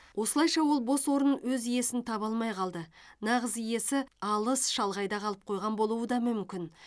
осылайша ол бос орын өз иесін таба алмай калды нағыз иесі алыс шалғайда қалып қойған болуы да мүмкін